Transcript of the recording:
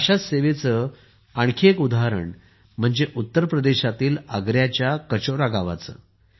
अशा सेवेचे आणखी एक उदाहरण म्हणजे उत्तर प्रदेशातील आग्र्याच्या कचोरा गावातील